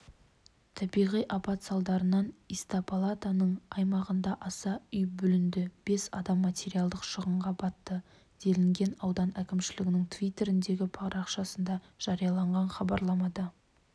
табиғи апат салдарынан истапалаптың аймағында аса үй бүлінді бес адам материалдық шығынға батты делінген аудан әкімшілігінің твиттердегі парақшасында жарияланған хабарламада